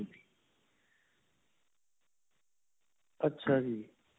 ਅੱਛਾ ਜੀ.